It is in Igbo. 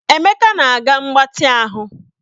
Emeka na-aga mgbatị ahụ